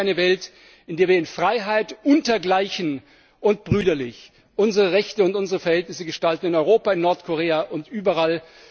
Ich wünsche mir eine Welt, in der wir in Freiheit, unter Gleichen und brüderlich unsere Rechte und Verhältnisse gestalten in Europa, in Nordkorea und überall.